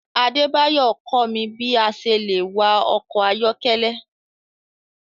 Adebayo kọ mi bi a ṣe le wạ ọkọ ayọkẹlẹ